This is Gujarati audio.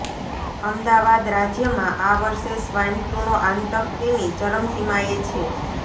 અમદાવાદઃ રાજ્યમાં આ વર્ષે સ્વાઇન ફ્લુનો આતંક તેની ચરમસીમાએ છે